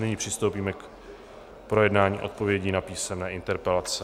Nyní přistoupíme k projednání odpovědí na písemné interpelace.